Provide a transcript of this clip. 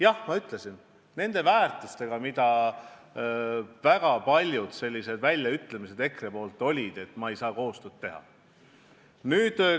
Jah, ma ütlesin, et kui tegu on nende väärtustega, mis väga paljudes EKRE väljaütlemistes kajastusid, siis ma ei saa nendega koostööd teha.